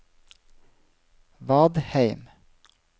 Vadheim